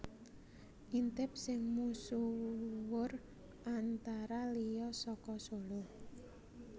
Intip sing misuwur antara liya saka Solo